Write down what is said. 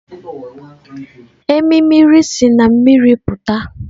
Emimiri siri na mmiri pụta.